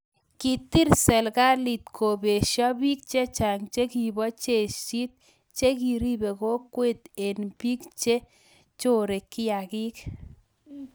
Kitil serikalit kobesha bik chechang chikibo jeshit chekiribe kokwet eng bik chi chore kiaik.